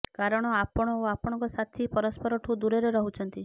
କାରଣ ଆପଣ ଓ ଆପଣଙ୍କ ସାଥୀ ପରସ୍ପରଠୁ ଦୂରରେ ରହୁଛନ୍ତି